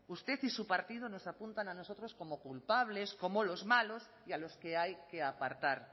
usted y su partido nos apuntan a nosotros como culpables como los malos y a los que hay que apartar